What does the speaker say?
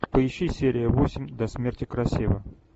поищи серия восемь до смерти красива